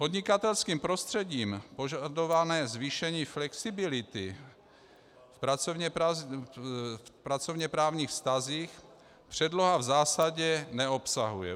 Podnikatelským prostředím požadované zvýšení flexibility v pracovněprávních vztazích předloha v zásadě neobsahuje.